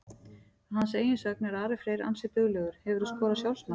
Að hans eigin sögn er Ari Freyr ansi duglegur Hefurðu skorað sjálfsmark?